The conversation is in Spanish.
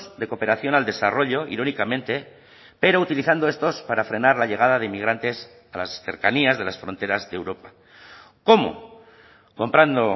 de cooperación al desarrollo irónicamente pero utilizando estos para frenar la llegada de inmigrantes a las cercanías de las fronteras de europa cómo comprando